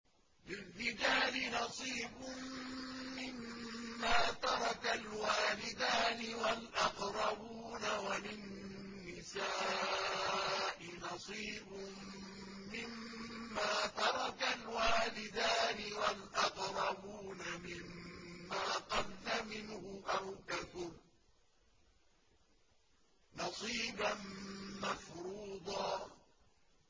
لِّلرِّجَالِ نَصِيبٌ مِّمَّا تَرَكَ الْوَالِدَانِ وَالْأَقْرَبُونَ وَلِلنِّسَاءِ نَصِيبٌ مِّمَّا تَرَكَ الْوَالِدَانِ وَالْأَقْرَبُونَ مِمَّا قَلَّ مِنْهُ أَوْ كَثُرَ ۚ نَصِيبًا مَّفْرُوضًا